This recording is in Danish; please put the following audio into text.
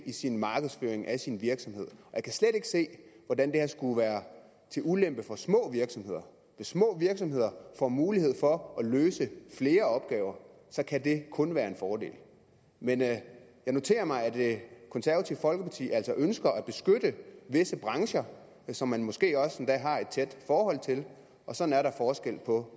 i sin markedsføring af sin virksomhed jeg kan slet ikke se hvordan det her skulle være til ulempe for små virksomheder hvis små virksomheder får mulighed for at løse flere opgaver kan det kun være en fordel men jeg noterer mig at det konservative folkeparti altså ønsker at beskytte visse brancher som man måske også endda har et tæt forhold til og sådan er der forskel på